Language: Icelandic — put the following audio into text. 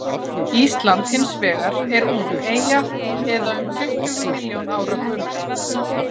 ísland hins vegar er ung eyja eða um tuttugu milljón ára gömul